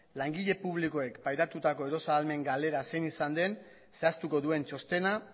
langile publikoek pairatutako erosahalmen galera zein izan den zehaztuko duen txostena